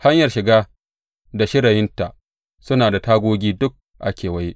Hanyar shiga da shirayinta suna da tagogi duk a kewaye.